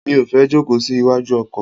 Mi ò fẹ́ jókòó sí iwájú ọkọ̀.